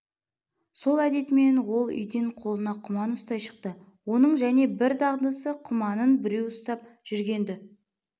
сол әдетімен ол үйден қолына құман ұстай шықты оның және бір дағдысы құманын біреу ұстап жүргенді